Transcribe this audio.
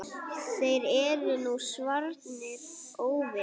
Þeir eru nú svarnir óvinir.